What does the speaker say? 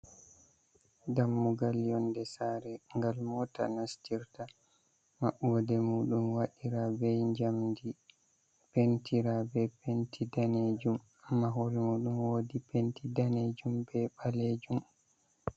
Ɗammugal yonɗe sare gal mota nastirta. Mabboɗe muɗum waɗira be jamɗi. Pentira be penti nɗanejum. Amma hore muɗum woɗi penti nɗanejum be balejum.